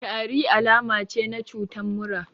Tari alama ce na cutan mura